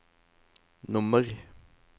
nummer